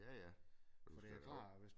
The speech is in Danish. Ja ja og du skal da også